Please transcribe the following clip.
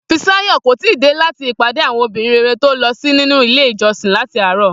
Fisáyò̩ kò tíì dé láti ìpàdé àwo̩n obìnrin rere tó lo̩ sí nínú ilé ìjo̩sin láti àárò̩